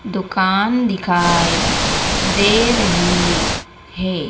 दुकान दिखाई दे रही है।